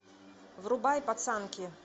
врубай пацанки